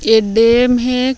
ए एक डैम हे।